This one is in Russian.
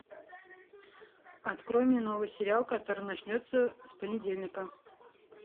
открой мне новый сериал который начнется с понедельника